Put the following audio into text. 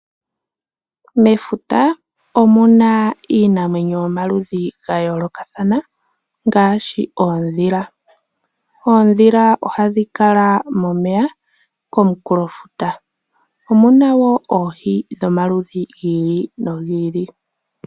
Mefuta omuna iinamwenyo yomaludhi ga yoolokathana ngaashi oondhila. Oondhila ohadhi kala momeya komunkulofuta omuna wo oohi dhomaludhi gi ili nogi ili.